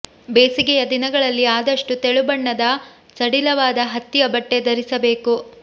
ಬೇಸಿಗೆಯ ದಿನಗಳಲ್ಲಿ ಆದಷ್ಟು ತೆಳು ಬಣ್ಣದ ಸಡಿಲವಾದ ಹತ್ತಿಯ ಬಟ್ಟೆ ಧರಿಸಬೇಕು